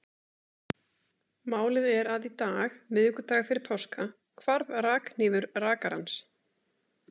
Málið er að í dag, miðvikudag fyrir páska, hvarf rakhnífur rakarans.